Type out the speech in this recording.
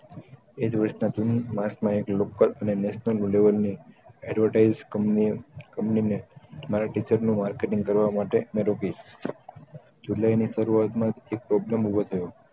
એજ વર્ષના જૂનું માર્ચમાં એક લોકલ અને national level ની advertise ક્મ્નીએ કમ્પની ને મારા picture નું marketing કરવા માટે ની જુલાય ની શરૂવાત માં એક problem ઉભો થયો